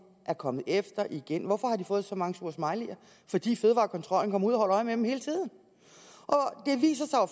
er kommet efter igen hvorfor har de fået så mange sure smileyer fordi fødevarekontrollen kommer ud og holder øje med dem hele tiden det viser